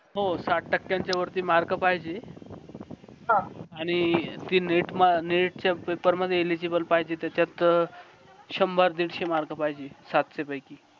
हो साठ टक्यांच्या वरती mark पाहिजे आणि ती neet neet च्या paper मध्ये illegible पाहिजे त्याच्यात शंभर दीडशे mark पाहिजे सातशे पैकी